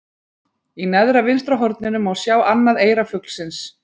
Í neðra vinstra horninu má sjá annað eyra fuglsins.